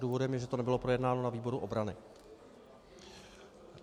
Důvodem je, že to nebylo projednáno na výboru obrany.